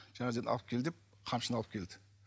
алып кел деп қамшыны алып келді